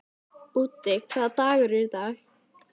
Úddi, hvaða dagur er í dag?